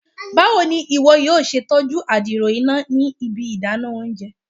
Bawo ni iwọ yoo ṣe tọju adiro ina ni ibi idana ounjẹ?